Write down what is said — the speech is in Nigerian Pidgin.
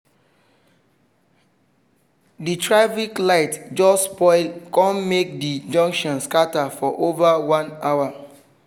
the traffic light just spoil kon make the junction scatter for over one hour